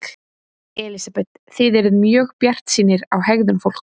Elísabet: Þið eruð mjög bjartsýnir á hegðun fólks?